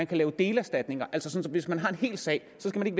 kan laves delerstatninger altså sådan at hvis man har en hel sag så skal man